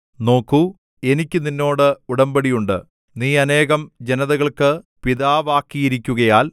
നോക്കൂ എനിക്ക് നിന്നോട് ഉടമ്പടിയുണ്ട് നീ അനേകം ജനതകൾക്ക് പിതാവാക്കിയിരിക്കുകയാൽ